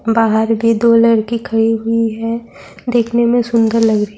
بہار بھی دو لڑکی کھڑی ہوئی ہیں دکھنے میں سندر لگ رہی ہے-